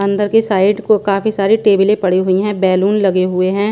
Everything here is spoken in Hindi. अंदर के साइड को काफी सारी टेबले पड़ी हुई हैं बैलून लगे हुए हैं।